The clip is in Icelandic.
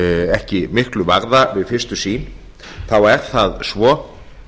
ekki miklu varða við fyrstu sýn þá er það svo